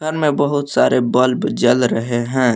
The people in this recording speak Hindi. अन में बहुत सारे बल्ब जल रहे हैं।